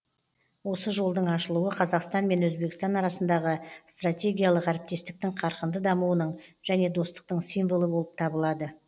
осы жолдың ашылуы қазақстан мен өзбекстан арасындағы стратегиялық әріптестіктің қарқынды дамуының және достықтың символы болып табылады